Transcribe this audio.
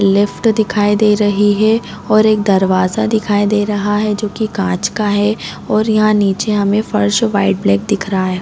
Lift दिखाई दे रही है और एक दरवाज़ा दिखाई दे रहा है जो की काँच का है और यहाँ नीचे हमे फर्श वाइट ब्लैक दिख रहा है।